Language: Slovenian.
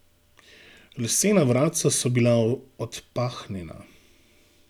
Lesena vratca so bila odpahnjena.